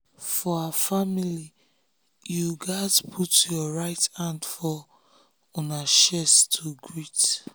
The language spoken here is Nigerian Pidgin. for her familyyou gats put your right hand for una una chest to greet.